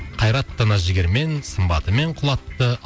қайраттыны жігермен сымбатымен құлатты